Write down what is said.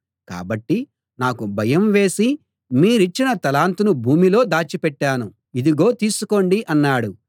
కాబట్టి నాకు భయం వేసి మీరిచ్చిన తలాంతును భూమిలో దాచిపెట్టాను ఇదిగో తీసుకోండి అన్నాడు